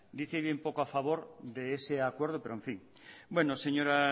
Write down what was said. dice bien poco a favor de ese acuerdo pero en fin bueno señor